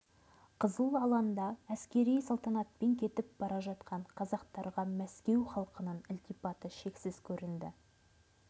қызыл алаңда әскери салтанатпен кетіп бара жатқан қазақтарға мәскеу халқының ілтипаты шексіз көрінді